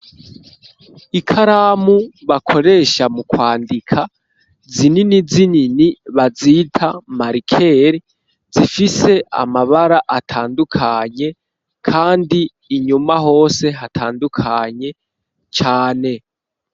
Ikaramu bakoresha mu kwandika zinini zinini bazita marikeri zifise amabara atandukanye kandi inyuma hose hatandukanye cane.